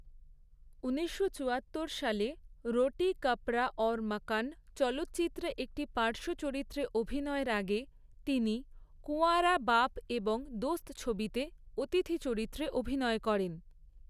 ঊনিশশো চুয়াত্তর সালে 'রোটি কাপড়া অওর মাকান' চলচ্চিত্রে একটি পার্শ্ব চরিত্রে অভিনয়ের আগে তিনি 'কুঁওয়ারা', 'বাপ' এবং 'দোস্ত' ছবিতে অতিথি চরিত্রে অভিনয় করেন।